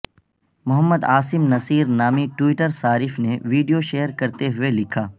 محمد عاصم نصیر نامی ٹوئٹر صارف نے ویڈیو شیئر کرتے ہوئے لکھا